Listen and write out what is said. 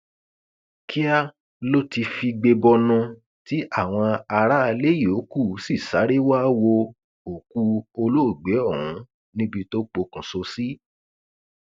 kíá ló ti figbe bọnu tí àwọn aráalé yòókù sì sáré wàá wo òkú olóògbé ọhún níbi tó pokùṣọ sí